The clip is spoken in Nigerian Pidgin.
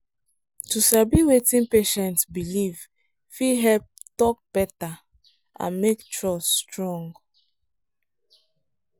to sabi wetin patient believe fit help talk better and make trust strong.